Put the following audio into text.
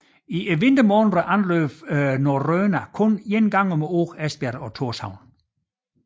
I vintermånederne anløb Norröna kun engang om ugen Esbjerg og Tórshavn